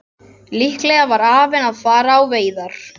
Líklega var afinn að fara á veiðar.